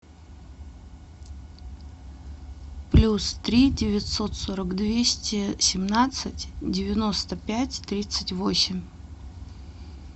плюс три девятьсот сорок двести семнадцать девяносто пять тридцать восемь